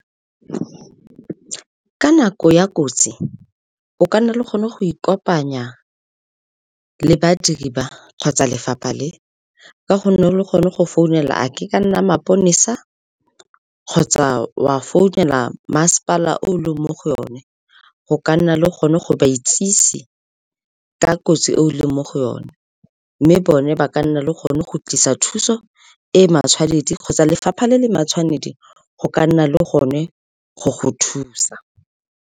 Ka nako ya kotsi, o ka nna le gone go ikopanya le badiri ba kgotsa lefapha le, ka gonne lo kgone go founela e ka nna maponesa kgotsa wa founela masepala o leng mo go yone, go ka nna le gone go ba itsise ka kotsi e o leng mo go yone. Mme bone ba ka nna le gone go tlisa thuso e e matshwanedi kgotsa lefapha le le matshwanedi go ka nna le gone go go thusa.